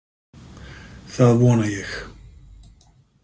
Það vona ég.